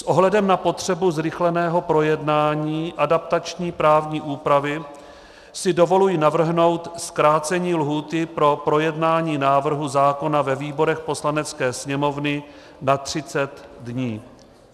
S ohledem na potřebu zrychleného projednání adaptační právní úpravy si dovolují navrhnout zkrácení lhůty pro projednání návrhu zákona ve výborech Poslanecké sněmovny na 30 dní.